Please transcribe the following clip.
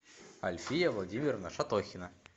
альфия владимировна шатохина